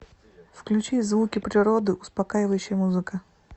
включи звуки природы успокаивающая музыка